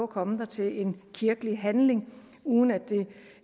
komme der til en kirkelig handling uden at det